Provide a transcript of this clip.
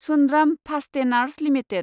Sundram Fasteners limited